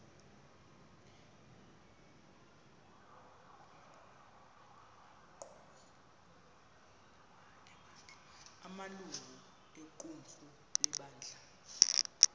amalungu equmrhu lebandla